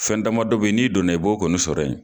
Fɛn dama dɔ bɛ yen n'i donna i b'o kɔnjisɔrɔ yen.